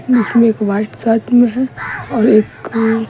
इसमें एक white shirt में है और एक --